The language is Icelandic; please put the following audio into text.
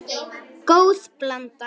Góð blanda.